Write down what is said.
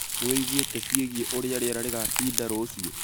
Nĩwĩiguĩte ciĩgiĩ ũrĩa rĩera rĩgatinda rũciũ?